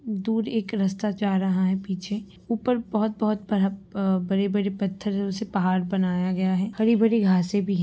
दूर एक रस्ता जा रहा है पीछे ऊपर बहोत बहोत अ बड़े-बड़े पत्थरों से पहाड़ बनाया गया है हरी-भरी घासें भी --